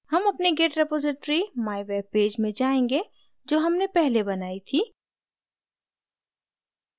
हम अपनी git repository mywebpage में जायेंगे जो हमने पहले बनाई थी